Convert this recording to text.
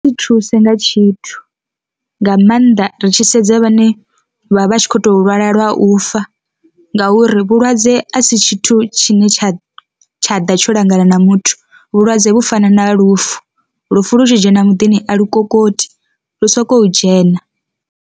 Zwi nthusa nga tshithu, nga maanḓa ri tshi sedza vhane vha vha tshi khou tou lwala lwa u fa ngauri vhulwadze a si tshithu tshine tsha tsha ḓa tsho langana na muthu, vhulwadze vhu fana na lufu, lufu lu tshi dzhena muḓini a lu kokoti lu soko dzhena.